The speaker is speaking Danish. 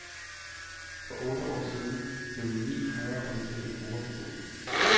For otte år siden blevni højreradikale grupper forbudt.